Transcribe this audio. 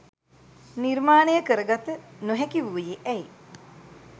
නිර්මානය කරගත නොහැකි වුයෙ ඇයි?